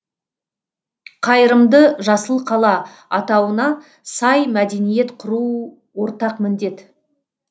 қайырымды жасыл қала атауына сай мәдениет құру ортақ міндет